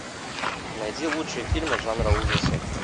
найди лучшие фильмы жанра ужасы